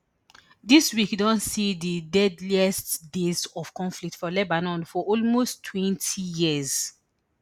dis week don see di deadliest days of conflict for lebanon for almost twenty years